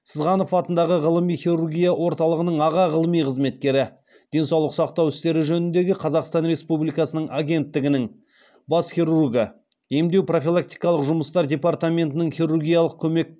сызғанов атындағы ғылыми хирургия орталығының аға ғылыми қызметкері денсаулық сақтау істері жөніндегі қазақстан республикасының агенттігінің бас хирургы емдеу профилактикалық жұмыстар департаментінің хирургиялық көмек